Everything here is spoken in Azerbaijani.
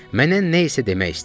Mənə nəsə demək istəyirdi.